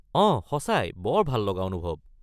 অঁ, সঁচাই বৰ ভাললগা অনুভৱ।